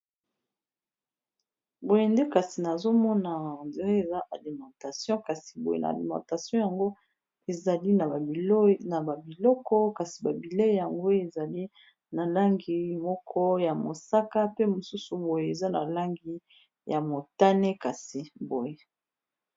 boyende kasi nazomona andre eza alimentation kasi boye na alimentation yango ezali na babiloko kasi babilei yango ezali na langi moko ya mosaka pe mosusu boye eza na langi ya motane kasi boye